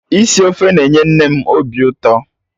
Isi ofe na-enye nne m obi ụtọ